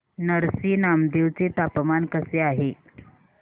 नरसी नामदेव चे तापमान कसे आहे